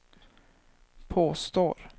påstår